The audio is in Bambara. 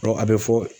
a bɛ fɔ